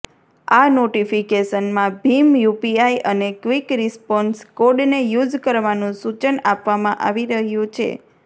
આ નોટિફિકેશનમાં ભીમ યૂપીઆઇ અને ક્વિક રિસ્પોન્સ કોડને યુઝ કરવાનુ સૂચન આપવામાં આવી રહ્યુ છે